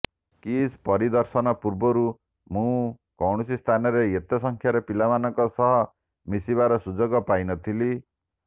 କିସ୍ ପରିଦର୍ଶନ ପୂର୍ବରୁ ମୁଁ କୌଣସି ସ୍ଥାନରେ ଏତେ ସଂଖ୍ୟାରେ ପିଲାମାନଙ୍କ ସହ ମିଶିବାର ସୁଯୋଗ ପାଇନଥିଲି